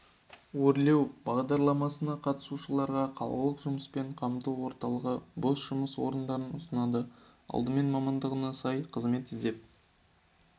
өрлеу бағдарламасына қатысушыларға қалалық жұмыспен қамту орталығы бос жұмыс орындарын ұсынады алдымен мамандығына сай қызмет іздеп